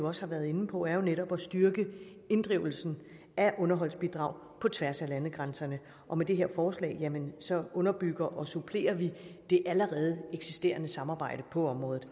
også har været inde på er jo netop at styrke inddrivelsen af underholdsbidrag på tværs af landegrænserne og med det her forslag underbygger og supplerer vi det allerede eksisterende samarbejde på området